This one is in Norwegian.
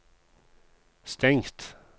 stengt